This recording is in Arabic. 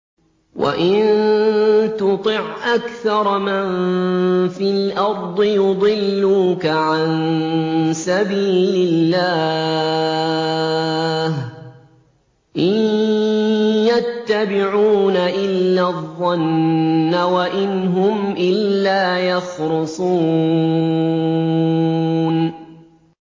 وَإِن تُطِعْ أَكْثَرَ مَن فِي الْأَرْضِ يُضِلُّوكَ عَن سَبِيلِ اللَّهِ ۚ إِن يَتَّبِعُونَ إِلَّا الظَّنَّ وَإِنْ هُمْ إِلَّا يَخْرُصُونَ